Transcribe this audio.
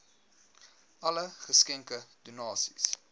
alle geskenke donasies